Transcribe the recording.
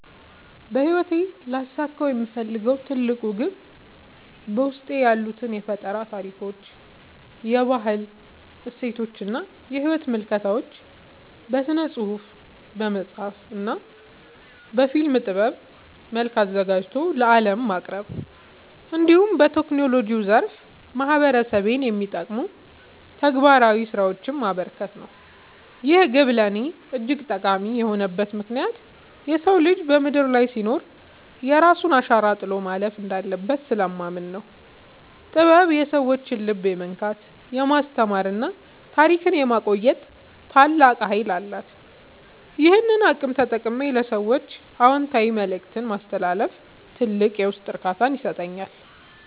በሕይወቴ ሊያሳካው የምፈልገው ትልቁ ግብ በውስጤ ያሉትን የፈጠራ ታሪኮች፣ የባህል እሴቶችና የሕይወት ምልከታዎች በሥነ-ጽሑፍ (በመጽሐፍ) እና በፊልም ጥበብ መልክ አዘጋጅቶ ለዓለም ማቅረብ፣ እንዲሁም በቴክኖሎጂው ዘርፍ ማኅበረሰቤን የሚጠቅሙ ተግባራዊ ሥራዎችን ማበርከት ነው። ይህ ግብ ለእኔ እጅግ ጠቃሚ የሆነበት ምክንያት የሰው ልጅ በምድር ላይ ሲኖር የራሱን አሻራ ጥሎ ማለፍ እንዳለበት ስለማምን ነው። ጥበብ የሰዎችን ልብ የመንካት፣ የማስተማርና ታሪክን የማቆየት ታላቅ ኃይል አላት፤ ይህንን አቅም ተጠቅሜ ለሰዎች አዎንታዊ መልእክት ማስተላለፍ ትልቅ የውስጥ እርካታን ይሰጠኛል።